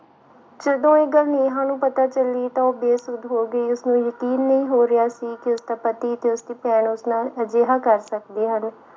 ਜਦੋਂ ਇਹ ਗੱਲ ਨੇਹਾਂ ਨੂੰ ਪਤਾ ਚੱਲੀ ਤਾਂ ਉਹ ਬੇਸੁੱਧ ਹੋ ਗਈ, ਉਸਨੂੰ ਯਕੀਨ ਨਹੀਂ ਹੋ ਰਿਹਾ ਸੀ ਕਿ ਉਸਦਾ ਪਤੀ ਤੇ ਉਸਦੀ ਭੈਣ ਉਸ ਨਾਲ ਅਜਿਹਾ ਕਰ ਸਕਦੇ ਹਨ।